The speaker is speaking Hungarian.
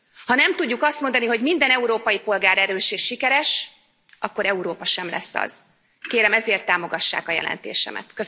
Ha nem tudjuk azt mondani, hogy minden európai polgár erős és sikeres, akkor Európa sem lesz az. Kérem ezért, támogassák a jelentésemet.